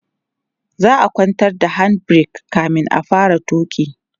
za'a kwantar da hand break kamin a fara tuki